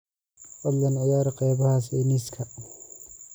fadlan ciyaar qaybaha sayniska